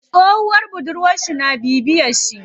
Tsohuwar budurwar shi tana bibiyen shi.